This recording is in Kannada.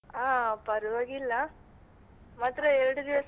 ಹಾ ಪರ್ವಾಗಿಲ್ಲ ಮಾತ್ರ ಎರ್ಡು ದಿವ್ಸ.